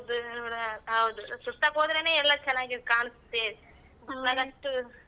ಹೌದು ಸುತ್ತಕ್ ಹೋದ್ರೆನೆ ಎಲ್ಲಾ ಚೆನ್ನಾಗಿ ಕಾಣ್ಸತ್ತೇ.